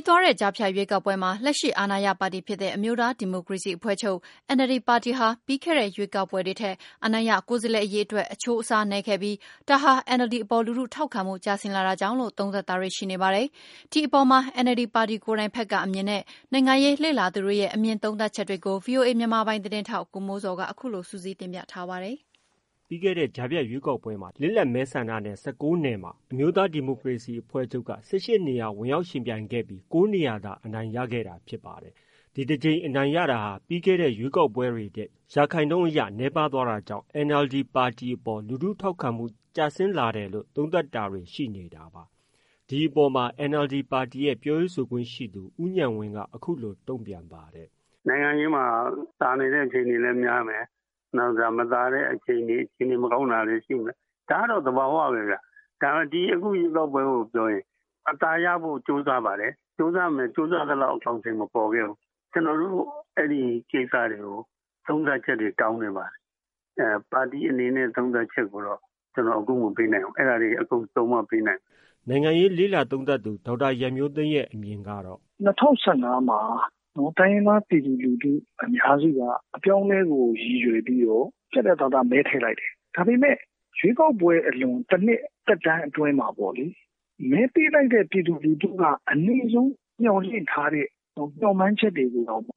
းသွားတဲ့ ကြားဖြတ်ရွေးကောက်ပွဲမှာ လက်ရှိအာဏာရပါတီဖြစ်တဲ့ အမျိုးသားဒီမိုကရေစီအဖွဲ့ချုပ် NLD ပါတီဟာ ပြီးခဲ့တဲ့ ရွေးကောက်ပွဲတွေထက် အနိုင်ရကိုယ်စားလှယ်အရေအတွက် အချိုးအစားနည်းခဲ့ပြီး ဒါဟာ NLD အပေါ် လူထုထောက်ခံမှု ကျဆင်းလာတာကြောင့်လို့ သုံးသပ်တာတွေ ရှိနေပါတယ်။ ဒီအပေါ်မှာ NLD ပါတီကိုယ်တိုင်ဘက်က အမြင်နဲ့ နိုင်ငံရေးလေ့လာ သူတွေရဲ့ အမြင် သုံးသပ်ချက်တွေကို ဗွီအိုအေမြန်မာပိုင်းသတင်းထောက် ကိုမိုးဇော်က အခုလို စုစည်းတင်ပြထားပါတယ်။ ပြီးခဲ့တဲ့ ကြားဖြတ်ရွေးကောက်ပွဲမှာ လစ်လပ်မဲဆန္ဒနယ် ၁၉နယ်မှာ အမျိုးသားဒီမိုကရေစီအဖွဲ့ချုပ်က ၁၈နေရာဝင်ရောက်ယှဉ်ပြိုင်ခဲ့ပြီး ၉နေရာသာ အနိုင်ရခဲ့တာဖြစ်ပါတယ်။ ဒီတကြိမ်အနိုင်ရတာဟာ ပြီးခဲ့ထက်ရွေးကောက်ပွဲတွေထက် ရာခိုင်နှုန်းအရ နည်းပါးသွားတာကြောင့် NLD ပါတီအပေါ် လူထုထောက်ခံမှုကျဆင်းလာတာလို့ သုံးသပ်တာတွေ ရှိနေတာပါ။ ဒီအပေါ်မှာ NLD ပါတီရဲ့ ပြောရေးဆိုခွင့်ရှိသူ ဦးညဏ်ဝင်းက အခုလိုတုံ့ပြန်ပါတယ်။ “နိုင်ငံရေးမှာ သာနေတဲ့အချိန်လည်းရှိမယ်၊ နောက်တခါ မသာတဲ့အခြေအနေ အခြေအနေမကောင်းတာတွေလည်းရှိမယ် ဒါကတော့ သဘော သဘောဝပဲခင်ဗျ။ အခုရွေးကောက်ပွဲကိုပြောရင် အသာရဖို့ ကြိုးစားပါတယ်၊ ကြိုးစားပေမယ့် ကြိုးစားသလောက်အကောင်အထည်ပေါ်ခဲ့ဘူး ကျနော်တို့ ဒီကိစ္စတွေကို သုံးသပ်ချက်တွေတောင်းနေပါတယ်။ ပါတီအနေနဲ့ သုံးသပ်ချက်ကိုတော့ ကျနော်အခုမပေးနိုင်ဘူး ကျနော်အားလုံးစုံမှ ပေးနိုင်မယ်။” နိုင်ငံရေးလေ့လာသုံးသပ်သူ ဒေါက်တာရန်မျိုးသိမ်းရဲ့ အမြင်ကတော့ - “၂၀၁၅ မှာ တိုင်းရင်းသား ပြည်သူလူထုအများစုက အပြောင်းအလဲကို ရည်ရွယ်ပြီးတော့ ပြတ်ပြတ်သားသားမဲထည့်လိုက်တယ်။ ဒါပေမယ့် ရွေးကောက်ပွဲအလွန် ၁ နှစ်သက်တမ်းအတွင်းမှာပေါ့နော် မဲပေးလိုက်တဲ့ပြည်သူက အနည်းဆုံးမျှော်လင့်ထားတဲ့ မျှော်မှန်းချက်တွေကိုတောင်မှ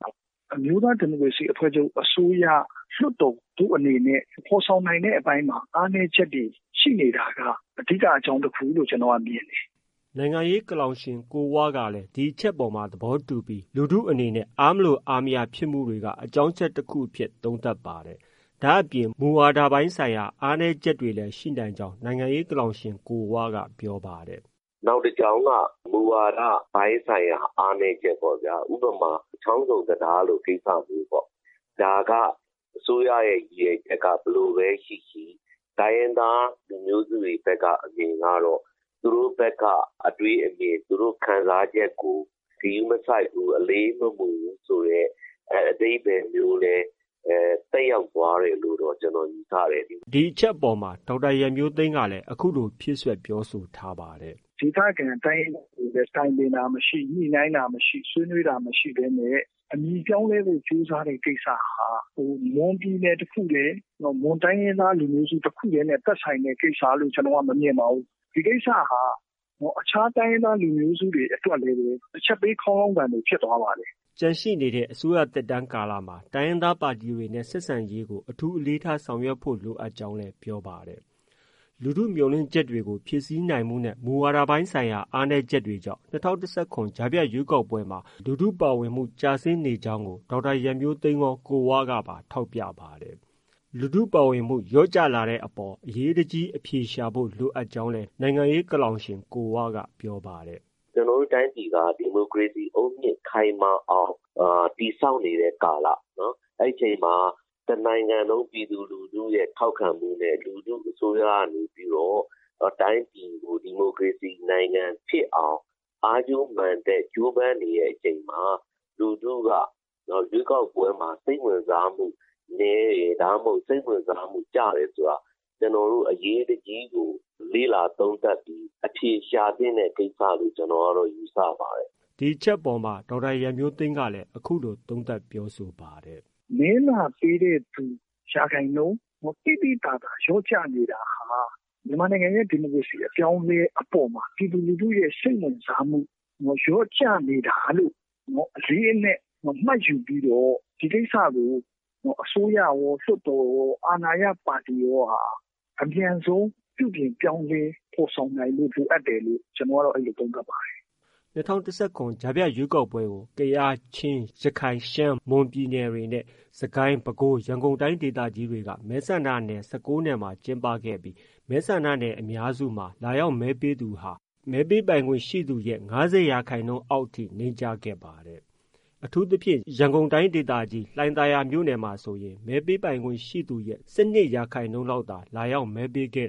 အမျိုးသားဒီမိုကရေစီအဖွဲ့ချုပ် အစိုးရ၊ လွှတ်တော်တို့အနေနဲ့ ဒီဖော်ဆောင်နိုင်တဲ့အပိုင်းမှာ အားနည်းချက်တွေရှိနေတာက အဓိကအကြောင်းတခုလို့ ကျနော်က မြင်တယ်။” နိုင်ငံရေး ကလောင်ရှင် ကိုဝကလည်း ဒီအချက်အပေါ် သဘောတူပြီး လူထုအနေနဲ့ အားမလိုအားမရဖြစ်မှုတွေက အကြောင်းအချက် တခုအဖြစ် သုံးသပ်ပါတယ်။ ဒါအပြင် မူဝါဒပိုင်းဆိုင်ရာအားနည်းချက်တွေလည်း ရှိနိုင်ကြောင်း နိုင်ငံရေးကလောင်ရှင် ကိုဝက ပြောပါတယ်။ “နောက်တကြောင်းက မူဝါဒပိုင်းဆိုင်ရာ အားနည်းချက်ပေါ့ဗျာ။ ဥပမာ ချောင်းဆုံတံတားလိုကိစ္စမျိုးပေါ့ ဒါက အစိုးရရဲ့ ရည်ရွယ်ချက်က ဘယ်လိုပဲရှိရှိ တိုင်းရင်းသားလူမျိုးစုတွေဘက်က အမြင်ကတော့ သူတို့ဘက်က အတွေးအမြင်၊ သူတို့ ခံစားချက် ကို ဂရုမစိုက်ဘူး၊ အလေးမယူဘူးဆိုတဲ့ အဓိပ္ပါယ်မျိုးသက်ရောက်သွားတယ်လို့ ကျနော်ယူဆတယ်။” ဒီအချက်အပေါ်မှာ ဒေါက်တာရန်မျိုးသိမ်းကလည်း အခုလို ဖြည့်စွက် ပြောဆိုထားပါတယ်။ “ဒေသခံတိုင်းရင်းသားတွေကိုလည်း တိုင်ပင်တာမရှိ၊ ဆွေးနွေးတာမရှိ ညှိနှိုင်းတာမရှိဘူး အမည်ပြောင်းလဲဖို့ ကြိုးစားတဲ့ ကိစ္စဟာ မွန်ပြည်နယ်တခုတည်း၊ မွန်တိုင်းရင်းသားတခုတည်းနဲ့ သက်ဆိုင်တဲ့ ကိစ္စလို့ ကျနော်ကတော့ မမြင်ပါဘူး။ ဒီကိစ္စဟာ အခြားတိုင်းရင်းသား လူမျိုးစုတွေအတွက်လည်း အချက်ပေးခေါင်းလောင်းသံလိုဖြစ်သွားပါတယ်။” ကျန်ရှိနေတဲ့ အစိုးရသက်တမ်းကာလမှာ တိုင်းရင်းသားပါတီတွေနဲ့ ဆက်ဆံရေးကို အထူးအလေးထားဆောင်ရွက်ဖု့ိ လိုအပ်ကြောင်းလည်း ပြောပါတယ်။ လူထုမျှော်လင့်ချက်တွေကို ဖြည့်ဆည်းနိုင်မှုနဲ့ မူဝါဒပိုင်းဆိုင်ရာအားနည်းတာတွေကြောင့် ၂၀၁၇ ကြားဖြတ်ရွေးကောက်ပွဲမှာ လူထုပါဝင်မှုကျဆင်းနေကြောင်းကို ဒေါက်တာရန်မျိုးသိမ်းရော၊ ကိုဝကပါ ထောက်ပြပါတယ်။ လူထုပါဝင်မှုလျော့ကျလာတဲ့အပေါ် အရေးတကြီးအဖြေရှာဖို့ လိုအပ်ကြောင်းလည်း နိုင်ငံရေးဆောင်းပါးရှင် ကိုဝက ပြောပါတယ်။ “ကျနော်တို့ တိုင်းပြည်က ဒီမိုကရေစီ အုတ်မြစ်ခိုင်မာအောင် တည်ဆောက်နေတဲ့ကာလ အဲဒီအချိန်မှာ တနိုင်ငံလုံး ပြည်သူလူထုရဲ့ထောက်ခံမှုနဲ့ လူထု အစိုးရကနေပြီးတော့ တိုင်းပြည်ကို ဒီမိုကရေစီ နိုင်ငံဖြစ်အောင် အားကြိုးမန်တက် ကြိုးပမ်းနေတဲ့အချိန်မှာ လူထုက ရွေးကောက်ပွဲမှာ စိတ်ဝင်စားမှုနည်းတယ်၊ စိတ်ဝင်စားမှု ကျတယ်ဆိုတာက ကျနော်တို့ အရေးတကြီး လေ့လာသုံးသပ်အဖြေရှာသင့်တဲ့ ကိစ္စလို့ ကျနော်ယူဆပါတယ်။” ဒီအချက်အပေါ်မှာ ဒေါက်တာရန်မျိုးသိမ်းကလည်း အခုလို သုံးသပ်ပြောဆိုပါတယ်။ “မဲလာပေးတဲ့ ရာခိုင်နှုန်းသိသိသာသာ လျော့ကျနေတာဟာ မြန်မာနိုင်ငံရဲ့ ဒီမိုကရေစီအပြောင်းအလဲအပေါ်မှာ ပြည်သူလူထုရဲ့ စိတ်ဝင်စားမှုလျော့ကျနေတာလို့ အလေးအနက် မှတ်ယူပြီးတော့ ဒီကိစ္စကို အစိုးရကော လွှတ်တော်ရော အာဏာရပါတီအပါအဝင် အမြန်ဆုံး ပြုပြင်ပြောင်းလဲ ဖော်ဆောင်နိုင်ဖို့ လိုအပ်တယ်လို့ ကျနော်ကတော့ အဲလိုသုံးသပ်ပါတယ်။” ၂၀၁၇ကြားဖြတ်ရွေးကောက်ပွဲကို ကယား၊ ချင်း၊ ရခိုင်၊ ရှမ်း၊ မွန် ပြည်နယ်တွေနဲ့ စစ်ကိုင်း၊ ပဲခူး၊ ရန်ကုန်တိုင်းဒေသကြီးတွေက မဲဆန္ဒနယ် ၁၉နေရာမှာ ကျင်းပခဲ့ပြီး မဲဆန္ဒနယ်အများစုမှာ လာရောက် မဲပေးသူဟာ မဲပေးခွင့်ရှိသူရဲ့ ၅၀ရာခိုင်နှုန်းအောက်ထိ နိမ့်ကျခဲ့ပါတယ်။ အထူးသဖြင့် ရန်ကုန်တိုင်းဒေသကြီး လှိုင်သာယာမြို့နယ်မှာဆိုရင် မဲပေးပိုင်ခွင့်ရှိသူရဲ့ ၁၂ရာခိုင်နှုန်းလောက်သာ လာရောက်မဲပေးခဲ့